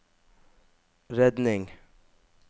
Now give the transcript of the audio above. redning